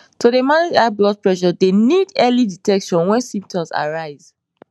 to dey manage high blood pressure dey need early detection wen symptoms arise